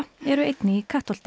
eru einnig í Kattholti